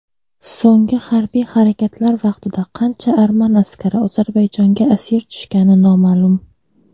So‘nggi harbiy harakatlar vaqtida qancha arman askari Ozarbayjonga asir tushgani noma’lum.